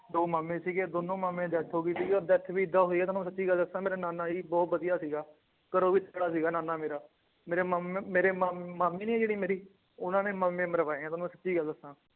ਦੋ ਮਾਮੇ ਸੀਗੇ ਦੋਨੋ ਮਾਮੇ death ਹੋਗੀ ਸੀਗੀ ਵੀ ਏਦਾਂ ਹੋਈ ਆ ਤੁਹਾਨੂੰ ਮੈ ਸੱਚੀ ਗੱਲ ਦੱਸਾਂ ਮੇਰਾ ਨਾਨਾ ਜੀ ਬਹੁਤ ਵਧੀਆ ਸੀਗਾ ਸੀਗਾ ਨਾਨਾ ਮੇਰਾ ਮੇਰੇ ਮਾਮ ਮੇਰੇ ਮਾਮ ਮਾਮੀ ਨੀ ਏ ਜਿਹੜੀ ਮੇਰੀ ਉਹਨਾਂ ਨੇ ਮਾਮੇ ਮਰਵਾਏ ਏ ਦੋਨੋ ਸਿੱਧੀ ਗੱਲ ਦੱਸਾਂ